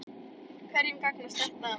Hverjum gagnast þetta?